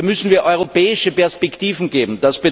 Hier müssen wir europäische Perspektiven geben.